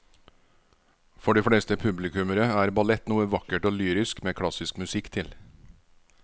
For de fleste publikummere er ballett noe vakkert og lyrisk med klassisk musikk til.